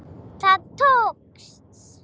Það tókst.